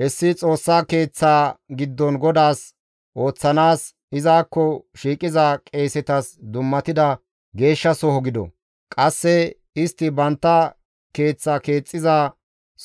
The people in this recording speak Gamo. Hessi Xoossa Keeththa giddon GODAAS ooththanaas, izakko shiiqiza qeesetas dummatida geeshshasoho gido; qasse istti bantta keeththa keexxiza